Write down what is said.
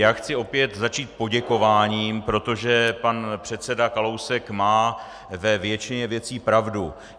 Já chci opět začít poděkováním, protože pan předseda Kalousek má ve většině věcí pravdu.